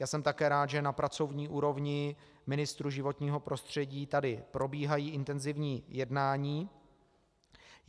Já jsem také rád, že na pracovní úrovni ministrů životního prostředí tady probíhají intenzivní jednání.